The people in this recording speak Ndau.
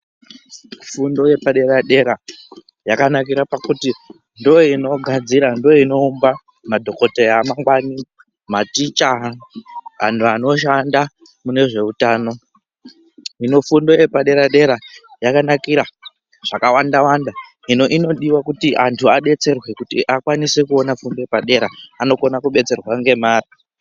Fundo yepadera-dera yakanakira pakuti ndoinogadzira ndoinoumba madhoKoteya amangwani, maticha antu anoshanda mune zveutano hino fundo yepadera-dera yakamira zvakawanda-wanda hino inodiwa kuti antu adetserwe kuti akwanise kuona fundo yepadera-dera. Anokona kudetserwa ngemare.